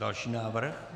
Další návrh.